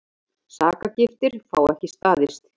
Sakargiftir fá ekki staðist